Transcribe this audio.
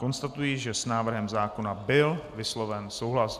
Konstatuji, že s návrhem zákona byl vysloven souhlas.